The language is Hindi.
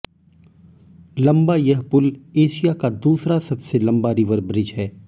लंबा यह पुल एशिया का दूसरा सबसे लंबा रिवर ब्रिज है